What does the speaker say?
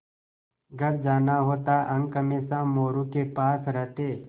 घर जाना होता अंक हमेशा मोरू के पास रहते